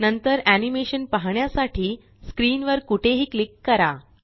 नंतर एनीमेशन पाहण्यासाठी स्क्रीन वर कुठेही क्लिक करा